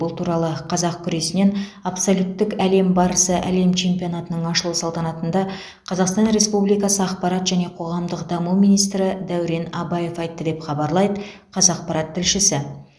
бұл туралы қазақ күресінен абсолюттік әлем барысы әлем чемпионатының ашылу салтанатында қазақстан республикасы ақпарат және қоғамдық даму министрі дәурен абаев айтты деп хабарлайды қазақпарат тілшісі